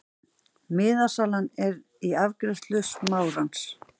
Miðasala er í afgreiðslu Smárans.